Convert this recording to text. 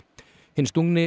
hinn